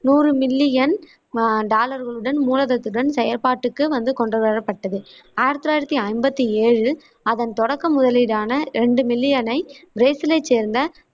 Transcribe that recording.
நுறு million டாலர்களுடன் மூலதனத்துடன் செயற்பாட்டுக்குக் வந்து கொண்டுவரப்பட்டது ஆயிரத்தி தொள்ளாயிரத்தி ஐம்பத்தி ஏழில் அதன் தொடக்க முதலீடான ரெண்டு மில்லியனை பிரேசிலைச் சேர்ந்த